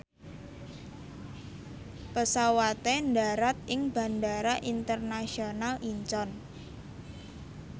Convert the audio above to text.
pesawate ndharat ing Bandara Internasional Incheon